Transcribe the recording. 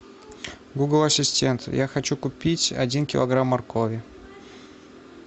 гугл ассистент я хочу купить один килограмм моркови